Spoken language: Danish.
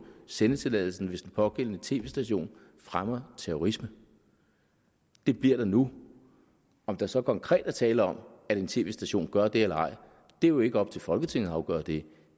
sendetilladelsen hvis den pågældende tv station fremmer terrorisme det bliver der nu om der så konkret er tale om at en tv station gør det eller ej er jo ikke op til folketinget at afgøre det